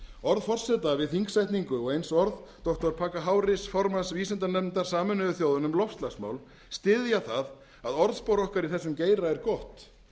orð forseta við þingsetningu og eins orð doktor hafa formanns vísindanefndar sameinuðu þjóðanna um loftslagsmál styðja það að orðspor okkar í þessum geira er gott